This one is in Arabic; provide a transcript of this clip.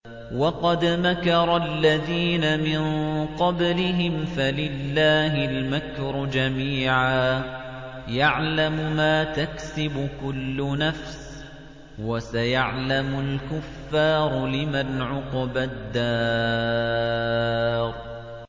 وَقَدْ مَكَرَ الَّذِينَ مِن قَبْلِهِمْ فَلِلَّهِ الْمَكْرُ جَمِيعًا ۖ يَعْلَمُ مَا تَكْسِبُ كُلُّ نَفْسٍ ۗ وَسَيَعْلَمُ الْكُفَّارُ لِمَنْ عُقْبَى الدَّارِ